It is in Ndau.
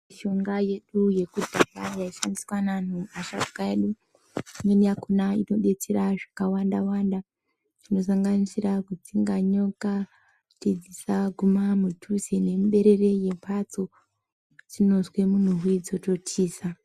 Mushonga yedu yekudhaya yaishandiswa neanhu asharuka edu. Imweni yakhona inodetsera zvakawanda-wanda, zvinosanganisira kudzinga nyoka kuti dzisaguma mudhuze nemuberere yemhatso. Dzinozwe munhuwi dzototiza.